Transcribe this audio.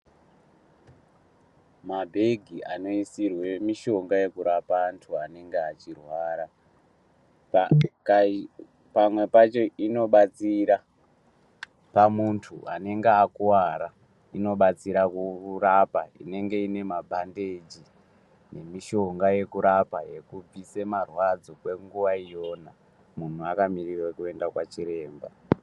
Mabhegi anoisirwe mishonga yekurapa antu anenge achirwara. Pamwe pacho inobatsira pamuntu anenge akuvara inobatsira kurapa inenge ine mabhandeji nemishonga yekurapa yekubvise marwadzo kwenguva iyona. Muntu akamirira kuenda kwachiremba.